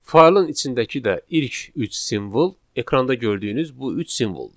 Faylın içindəki də ilk üç simvol ekranda gördüyünüz bu üç simvoldur.